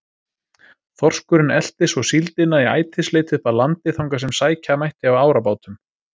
Þorskurinn elti svo síldina í ætisleit upp að landi þangað sem sækja mætti á árabátum.